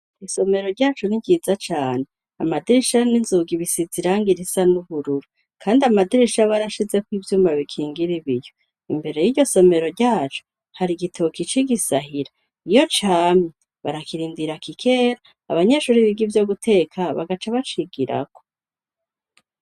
Isomero ryacu ni ryiza cane amadirisha n'inzugi bisize irangi risa n'ubururu. Kandi amadirisha barashizeko ivyuma bikingira ibiyo. Imbere y'iryo somero ryacu hari igitoki c'igisahira iyo camye barakirindira kikera abanyeshuri biga ivyo guteka bagaca bacigirako.